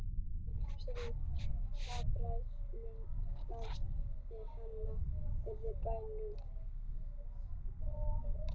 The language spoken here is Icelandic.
Síldarbræðslunni blandaðist henni yfir bænum.